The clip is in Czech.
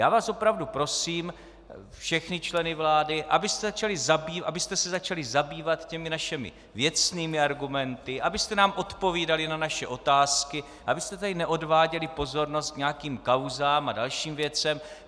Já vás opravdu prosím, všechny členy vlády, abyste se začali zabývat těmi našimi věcnými argumenty, abyste nám odpovídali na naše otázky, abyste tady neodváděli pozornost k nějakým kauzám a dalším věcem.